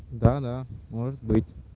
да да может быть